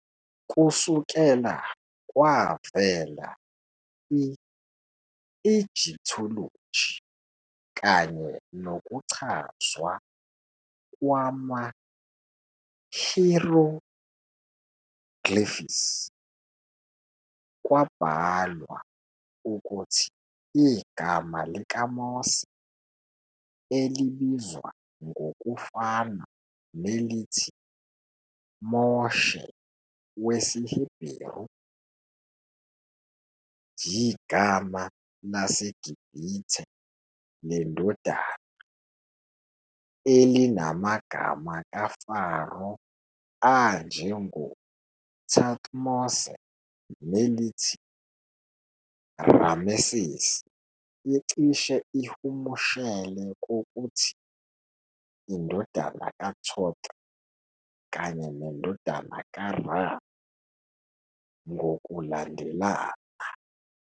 Kusukela kwavela i- Egyptology kanye nokuchazwa kwama-hieroglyphs, kwabhalwa ukuthi igama likaMose, elibizwa ngokufana nelithi Moshe wesiHeberu, yigama laseGibhithe leNdodana, elinamagama kaFaro anjengoThutmose nelithi Ramesses icishe ihumushele kokuthi "indodana kaThoth " kanye "nendodana kaRa," ngokulandelana.